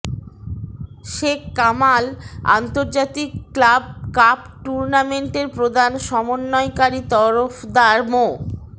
শেখ কামাল আন্তর্জাতিক club cup টুর্নামেন্টের প্রধান সমন্বয়কারী তরফদার মো